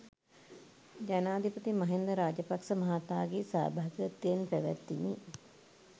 ජනාධිපති මහින්ද රාජපක්ෂ මහතාගේ සහභාගිත්වයෙන් පැවැත්විණි.